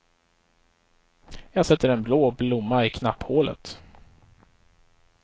Jag sätter en blå blomma i knapphålet.